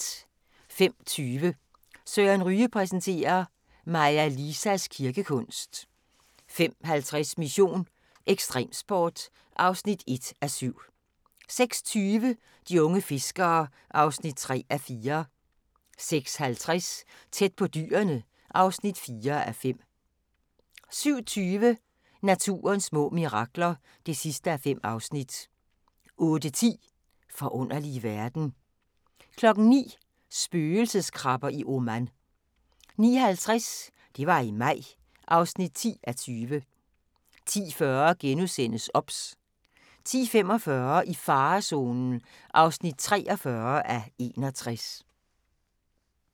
05:20: Søren Ryge præsenterer: Maja Lisas kirkekunst 05:50: Mission: Ekstremsport (1:7) 06:20: De unge fiskere (3:4) 06:50: Tæt på dyrene (4:5) 07:20: Naturens små mirakler (5:5) 08:10: Forunderlige verden 09:00: Spøgelseskrabber i Oman 09:50: Det var i maj (10:20) 10:40: OBS * 10:45: I farezonen (43:61)